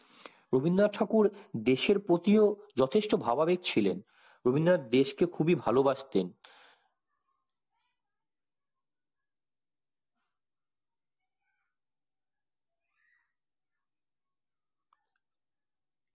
রবীন্দ্রনাথ ঠাকুর দেশের প্রতিও যথেষ্ট ভাবাবিক ছিলেন রবীন্দ্রনাথ দেশকে খুবই ভালো বাসতেন